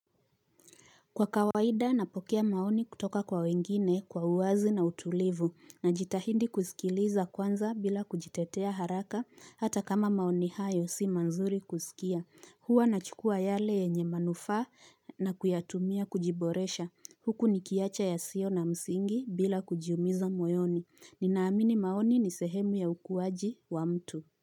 Kwa kawaida napokea maoni kutoka kwa wengine kwa uwazi na utulivu na jitahindi kusikiliza kwanza bila kujitetea haraka hata kama maoni hayo si mazuri kusikia. Hua nachukua yale yenye manufaa na kuyatumia kujiboresha. Huku nikiacha yasio na msingi bila kujiumiza moyoni. Ninaamini maoni ni sehemu ya ukuwaji wa mtu.